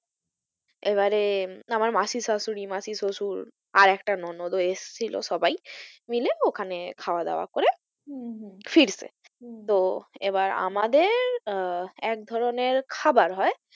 এবারে আমার মাসির শাশুড়ি, মাসির শ্বশুর আর একটা ননদ ও এসেছিল সবাই মিলে ওখানে খাওয়া দাওয়া করে হম হম ফিরছে হম তো এবার আমাদের আহ একধরনের খাবার হয়,